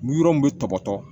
Mi yɔrɔ min tɔgɔ